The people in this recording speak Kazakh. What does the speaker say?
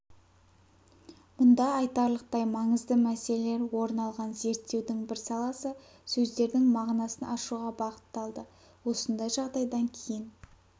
мұнда айтарлықтай маңызды мәселелер орын алған зерттеудің бір саласы сөздердің мағынасын ашуға бағытталды осындай жағдайдан кейін